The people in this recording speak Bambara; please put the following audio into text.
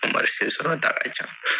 sɔrɔta ka ca.